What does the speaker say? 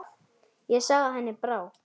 Ég sá að henni brá.